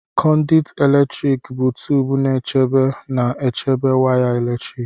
Conduit eletrik bụ tubu nchebe na-echebe waya eletrik.